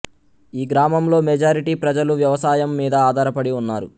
ఈ గ్రామంలో మెజారిటీ ప్రజలు వ్యవసాయం మీద ఆధారపడి ఉన్నారు